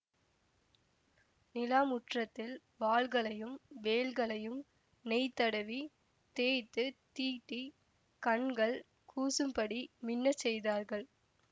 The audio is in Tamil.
நிலா முற்றத்தில் வாள்களையும் வேல்களையும் நெய் தடவி தேய்த்துத் தீட்டிக் கண்கள் கூசும்படி மின்னச் செய்தார்கள்